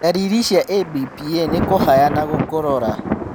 Ndariri cia ABPA nĩ kũhaya na gũkorora.